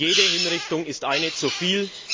Jede Hinrichtung ist eine zu viel.